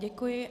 Děkuji.